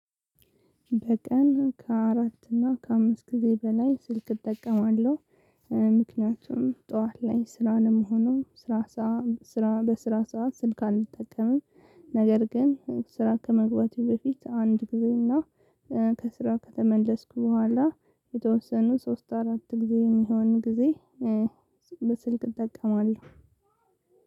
በቀን ከአራት እና ከአምስት ጊዜ በላይ ስልክ እጠቀማለሁ። ምክንያቱም ጠዋት ላይ ስራ ነው እምሆነው ስራ ስራ በስራ ሰዓት ስልክ አንጠቀምም ነገር ግን ስራ ከመግባቴ በፊት አንድ ጊዜ እና ከስራ ከተመለስኩ በኋላ የተወሰኑ ሶስት አራት ጊዜ የሚሆን ጊዜ። ስልክ እጠቀማለሁ።